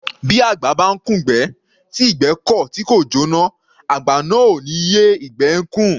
Bí àgbà bá ńkùn'gbẹ́, tí ìgbẹ́ kọ̀ tí kò jóná, àgbà náà ò ní yé ìgbẹ́ ẹ́ kùn.